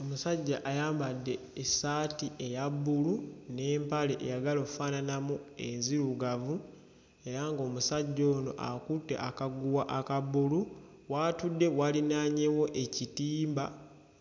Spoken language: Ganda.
Omusajjja ayambadde essaati eya bbulu n'empale eyagala okufaananamu enzirugavu era ng'omusajja ono akutte akaguwa aka bbulu, w'atudde walinaanyeewo ekitimba